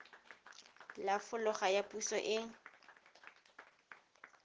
la folaga ya puso e